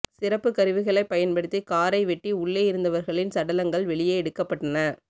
சிறப்புக் கருவிகளை பயன்படுத்தி காரை வெட்டி உள்ளே இருந்தவர்களின் சடலங்கள் வெளியே எடுக்கப்பட்டன